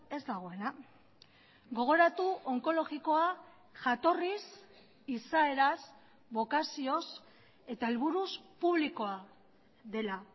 ez dagoena gogoratu onkologikoa jatorriz izaeraz bokazioz eta helburuz publikoa dela